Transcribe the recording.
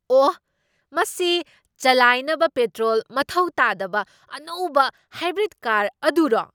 ꯑꯣ! ꯃꯁꯤ ꯆꯂꯥꯏꯅꯕ ꯄꯦꯇ꯭ꯔꯣꯜ ꯃꯊꯧ ꯇꯥꯗꯕ ꯑꯅꯧꯕ ꯍꯥꯏꯕ꯭ꯔꯤꯗ ꯀꯥꯔ ꯑꯗꯨꯔꯣ?